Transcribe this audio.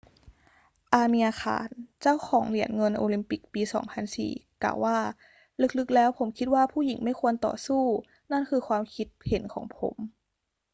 อาเมียร์ ข่าน เจ้าของเหรียญเงินโอลิมปิกปี 2004 กล่าวว่า ลึก ๆ แล้วผมคิดว่าผู้หญิงไม่ควรต่อสู้ นั่นคือความคิดเห็นของผม